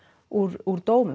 úr úr dómum